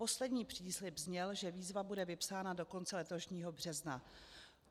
Poslední příslib zněl, že výzva bude vypsána do konce letošního března.